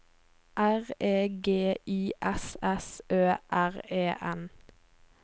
R E G I S S Ø R E N